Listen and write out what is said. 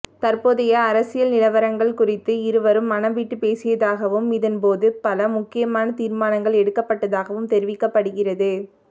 தற்போதைய அரசியல் நிலவரங்கள் குறித்து இருவரும் மனம்விட்டுப் பேசியதாகவும் இதன்போது பல முக்கியமான தீர்மானங்கள் எடுக்கப்பட்டதாகவும் தெரிவிக்கப்படுகிறது